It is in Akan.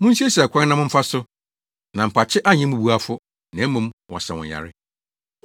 Munsiesie akwan na momfa so, na mpakye anyɛ mmubuafo, na mmom, wɔasa wɔn yare.